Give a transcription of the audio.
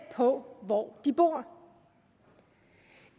på hvor de bor